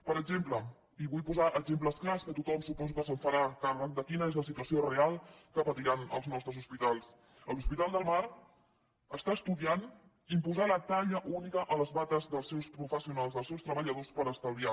per exemple i vull posar exemples clars que tothom suposo que se’n farà càrrec de quina és la situació real que patiran els nostres hospitals l’hospital del mar està estudiant imposar la talla única a les bates dels seus professionals dels seus treballadors per estalviar